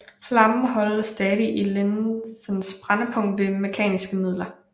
Flammen holdes stadig i linsens brændpunkt ved mekaniske midler